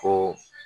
Ko